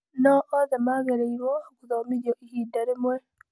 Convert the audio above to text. No othe magĩrĩirwo gũthomithio ihinda rĩmwe.